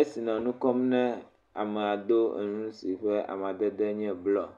esi nɔ nu kɔm na amea do awu si ƒe amadede le blɔɔ.